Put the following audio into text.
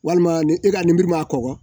Walima ni e ka lenburu ma kɔgɔ